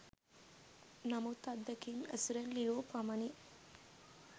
නමුත් අත්දැකීම් ඇසුරෙන් ලියූ පමණින්